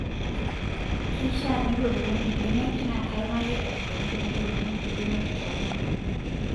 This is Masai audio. Keishaa nedotuni imbenek naa kaaimaki enaikoni tenedotuni mbenek too rnyanya.